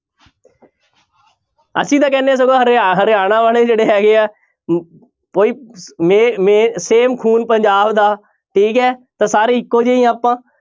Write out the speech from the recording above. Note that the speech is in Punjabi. ਅਸੀਂ ਤਾਂ ਕਹਿੰਦੇ ਹਾਂ ਸਗੋਂ ਹਰਿਆ~ ਹਰਿਆਣਾ ਵਾਲੇ ਜਿਹੜੇ ਹੈਗੇ ਆ ਹਮ ਉਹੀ ਮੇ~ ਮੇ~ same ਖੂਨ ਪੰਜਾਬ ਦਾ ਠੀਕ ਹੈ ਤਾਂ ਸਾਰੇ ਇਕੋ ਜਿਹੇ ਹੀ ਹਾਂ ਆਪਾਂ।